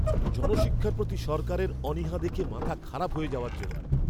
জনশিক্ষার প্রতি সরকারের অনীহা দেখে মাথা খারাপ হয়ে যাওয়ার যোগাড়!